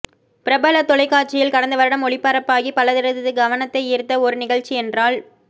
பிரபல தொலைக்காட்சியில் கடந்த வருடம் ஒளிபரப்பாகி பலரது கவனத்தை ஈர்த்த ஒரு நிகழ்ச்சி என்றால்